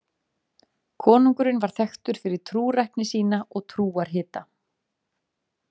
Konungurinn var þekktur fyrir trúrækni sína og trúarhita.